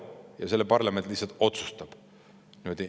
" Ja seda parlament lihtsalt otsustab.